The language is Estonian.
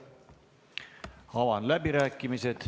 Avan läbirääkimised.